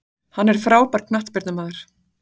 Hann er frábær knattspyrnumaður.